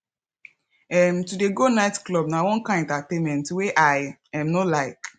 um to dey go night club na one kain entertainment wey i um no like